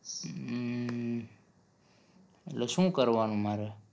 હમ એટલે શું કરવાનું મારે?